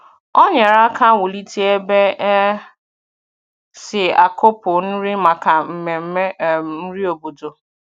Ọ nyerè aka wùlite ebe e si akùpụ nri maka mmemme um nri obodo.